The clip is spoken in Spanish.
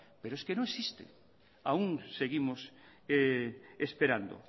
pero es que no existe aún seguimos esperando